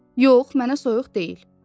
Yox, mənə soyuq deyil.